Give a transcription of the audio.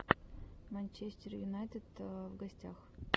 манчестер юнайтед в гостях